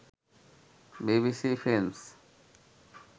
BBC films